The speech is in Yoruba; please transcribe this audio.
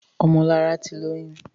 Ọmọlọlá ti lóyún.